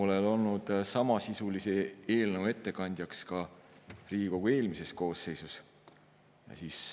Olen olnud samasisulise eelnõu ettekandjaks ka Riigikogu eelmises koosseisus.